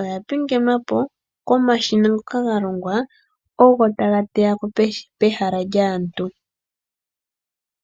oya pingenwapo komashina . Ngoka ga longwa ogo taga teya ko peha lyaantu.